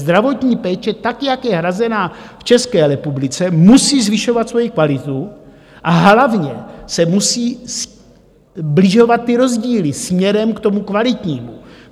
Zdravotní péče, tak jak je hrazena v České republice, musí zvyšovat svoji kvalitu a hlavně se musí sbližovat ty rozdíly směrem k tomu kvalitnímu.